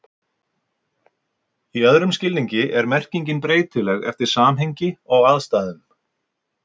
í öðrum skilningi er merkingin breytileg eftir samhengi og aðstæðum